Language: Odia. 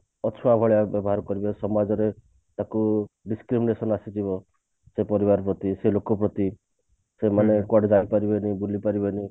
ଅଛୁଆଁ ଭଳି ବ୍ୟବହାର କରିବେ ସମାଜରେ ତାକୁ discrimination ଆସିଯିବ ସେ ପରିବାର ପ୍ରତି ସେ ଲୋକ ପ୍ରତି ସେମାନେ କୁଆଡେ ଯାଇ ପାରିବେନି ବୁଲି ପାରିବେନି